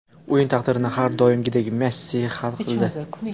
O‘yin taqdirini har doimgidek Messi hal qildi.